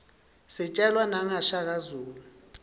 sijelwa naqa shaka zulu